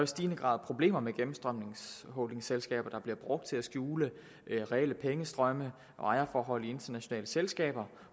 stigende grad problemer med gennemstrømningsholdingselskaber der bliver brugt til at skjule reelle pengestrømme og ejerforhold i internationale selskaber